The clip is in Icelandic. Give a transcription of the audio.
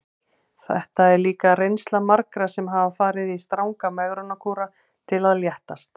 Þetta er líka reynsla margra sem hafa farið í stranga megrunarkúra til að léttast.